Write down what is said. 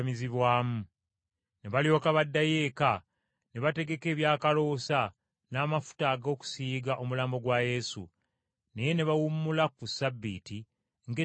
Ne balyoka baddayo eka ne bategeka ebyakaloosa n’amafuta ag’okusiiga omulambo gwa Yesu. Naye ne bawummula ku Ssabbiiti ng’etteeka bwe liragira.